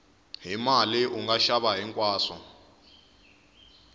hi mali unga xava hinkwaswo